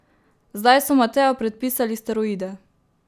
Zdaj so Mateju predpisali steroide.